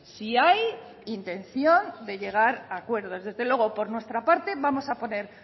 si hay intención de llegar a acuerdos desde luego por nuestra parte vamos a poner